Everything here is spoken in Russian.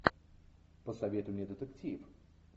посоветуй мне детектив